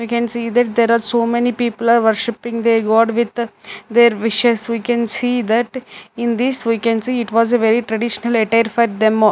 We can see that there are so many people are worshiping their god with their wishes. We can see that in this we can see it was a very traditional attire for them a --